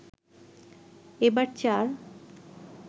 এবার চার